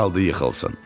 Az qaldı yıxılsın.